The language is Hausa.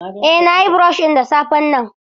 Eh nayi brush ɗin da safen nan.